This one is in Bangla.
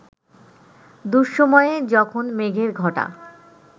দুঃসময়ে, যখন মেঘের ঘটা